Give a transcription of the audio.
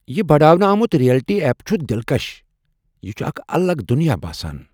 یہ بڈاونہٕ آمُت ریئلٹی ایپ چُھ دلکش۔ یہ چُھ اکھ الگ دُنیاہ باسان ۔